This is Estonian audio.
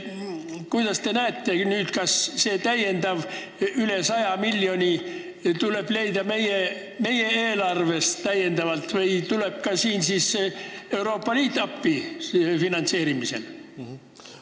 Kas teie arvates tuleb see täiendav raha, üle 100 miljoni leida meie eelarvest või tuleb Euroopa Liit finantseerimisel appi?